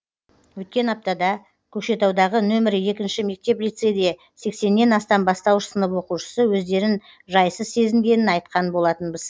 өткен аптада көкшетаудағы нөмірі екінші мектеп лицейде сексеннен астам бастауыш сынып оқушысы өздерін жайсыз сезінгенін айтқан болатынбыз